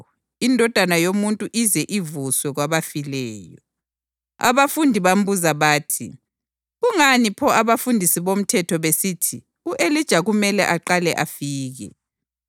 Abafundi bambuza bathi, “Kungani pho abafundisi bomthetho besithi u-Elija kumele aqale afike?”